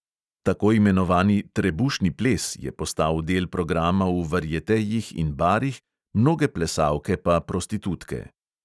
Tako imenovani trebušni ples je postal del programa v varietejih in barih, mnoge plesalke pa prostitutke.